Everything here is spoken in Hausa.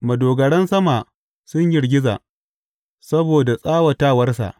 Madogaran sama sun girgiza, saboda tsawatawarsa.